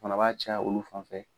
Fana b'a caya olu fan fɛ